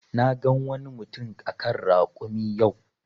Na gan wani mutum a kan rakumi yau.